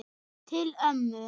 Til ömmu.